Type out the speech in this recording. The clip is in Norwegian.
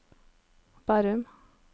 Bærum